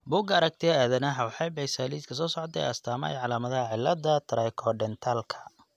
Bugga Aragtiyaha Aadanaha waxay bixisaa liiska soo socda ee astaamaha iyo calaamadaha cillada Trichodentalka.